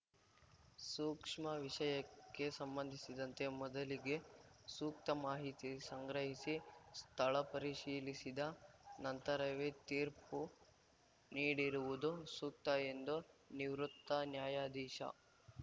ಸೂಕ್ಷ್ಮ ವಿಷಯಕ್ಕೆ ಸಂಬಂಧಿಸಿದಂತೆ ಮೊದಲಿಗೆ ಸೂಕ್ತ ಮಾಹಿತಿ ಸಂಗ್ರಹಿಸಿ ಸ್ಥಳ ಪರಿಶೀಲಿಸಿದ ನಂತರವೇ ತೀರ್ಪು ನೀಡಿರುವುದು ಸೂಕ್ತ ಎಂದು ನಿವೃತ್ತ ನ್ಯಾಯಾಧೀಶ